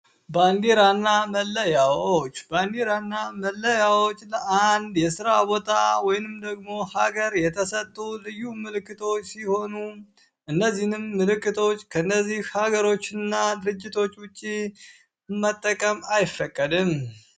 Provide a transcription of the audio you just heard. ባንዲራና መለያዎች ባንዲራ እና መለያዎች ለአንድ የስራ ቦታ ወይንም ደግሞ ሀገር የተሰጡ ልዩ ምልክቶች ሲሆኑ እነዚህንም ምልክቶች ከእነዚህ ሀገሮች እና ድርጅቶ ውጭ መጠቀም አይፈቀድም።